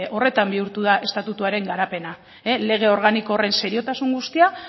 horretan bihurtu da estatutuaren garapena lege organiko horren seriotasun guztia